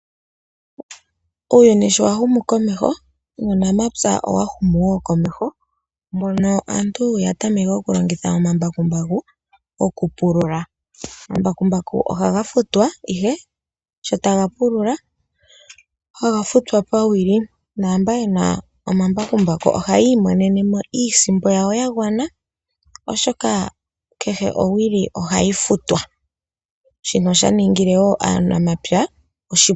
Uuyuni shi wahumu komeho nuunamapya owahumu woo komeho, mono aantu yatameke okulongitha omambakumbaku okupulula. Omambakumbaku ohaga futwa ihe sho taga pulula, haga futwa pawili naamba yena omambakumbaku oha yiimonenemo iisimpo yayo ya gwana oshoka kehe owili ohayi futwa, shino oshaningile aanamapya oshipu.